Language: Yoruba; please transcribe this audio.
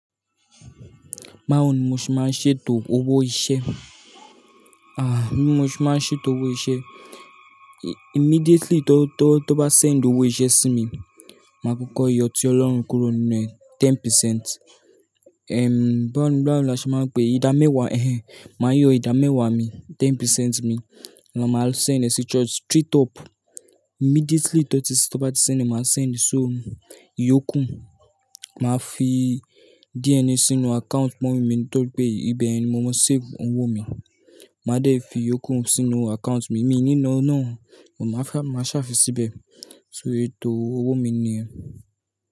Báwo ni mo ṣe máa ń ṣètò owó iṣẹ́? Ah, bí mo ṣe máa ń ṣètò owó iṣẹ́. Immediately tó bá send owó iṣẹ́ sí mi, máa kọ́kọ́ yọ tí Ọlọ́run kúrò nínú ẹ̀, 10%. Ehm, báwo ni, báwo ni a ṣe máa ń pè é? Ìdámẹ́wàá, ehhen, màá yọ ìdámẹ́wàá mi, 10% mi, lọ máa send ẹ sí church straight up. Immediately tó ti, tó bá ti sẹ́ni, màá send e, so ìyókù, màá fi DNA sínú account mummy mi tọ́ri pé ibẹ̀ ni mo máa save owó mi. Màá dẹ̀ fi ìyókù sínú account mi, mi níná náà, mo máa ṣàfi síbẹ̀, so ètò owó mi niyẹn.